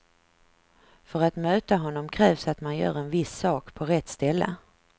För att möta honom krävs att man gör en viss sak på rätt ställe.